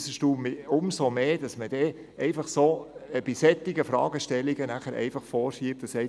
Es erstaunt mich umso mehr, wenn dann bei solchen Fragestellungen vorgeschoben wird: